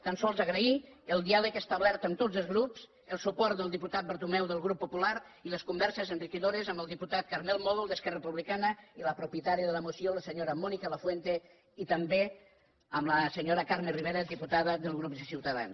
tan sols agrair el diàleg establert amb tots els grups el suport del diputat bertomeu del grup popular i les converses enriquidores amb el diputat carmel mòdol d’esquerra republicana i la propietària de la moció la senyora mònica lafuente i també amb la senyora carme rivera diputada del grup de ciutadans